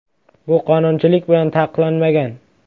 “Bu qonunchilik bilan taqiqlanmagan”.